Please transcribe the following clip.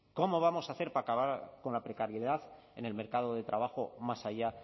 cómo vamos a hacer para acabar con la precariedad en el mercado de trabajo más allá